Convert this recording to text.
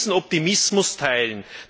Wer soll diesen Optimismus teilen?